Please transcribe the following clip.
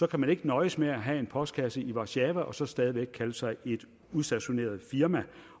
kan man ikke nøjes med at have en postkasse i warszava og så stadig væk kalde sig et udstationeret firma